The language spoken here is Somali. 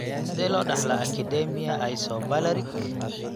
Sidee loo dhaxlaa acidemia isovalerik?